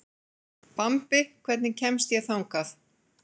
Bambi, hvernig kemst ég þangað?